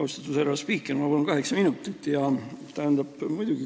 Austatud härra spiiker, ma palun kaheksa minutit!